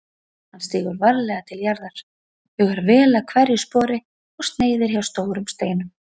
Hann stígur varlega til jarðar, hugar vel að hverju spori og sneiðir hjá stórum steinum.